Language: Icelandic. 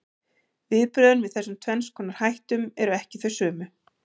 Viðbrögðin við þessum tvenns konar hættum eru ekki þau sömu.